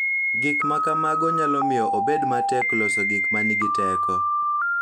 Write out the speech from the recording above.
Gik ma kamago nyalo miyo obed matek loso gik ma nigi teko,